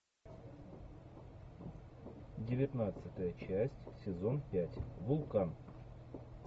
девятнадцатая часть сезон пять вулкан